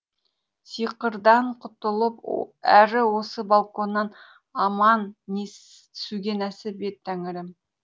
сиқырдан құтылып әрі осы балконнан аман түсуге нәсіп ет тәңірім